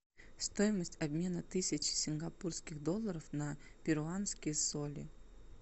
стоимость обмена тысячи сингапурских долларов на перуанские соли